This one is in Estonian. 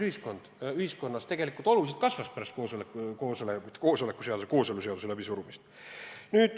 Me mäletame, et pärast kooseluseaduse läbisurumist sallimatus ühiskonnas oluliselt kasvas.